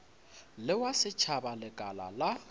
le wa setšhaba lekala la